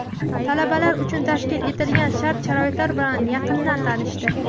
talabalar uchun tashkil etilgan shart-sharoitlar bilan yaqindan tanishdi.